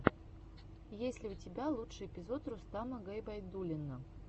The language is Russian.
есть ли у тебя лучший эпизод рустама губайдуллина